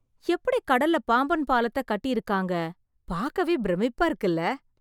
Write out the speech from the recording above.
எப்படி கடல்ல பாம்பன் பாலத்தை கட்டி இருக்காங்க! பார்க்கவே பிரமிப்பா இருக்குல